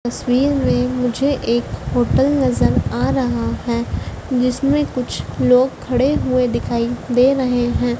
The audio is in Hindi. तस्वीर में मुझे एक होटल नजर आ रहा है जिसमें कुछ लोग खड़े हुए दिखाई दे रहे हैं।